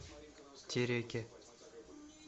тереке